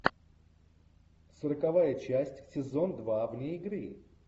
сороковая часть сезон два вне игры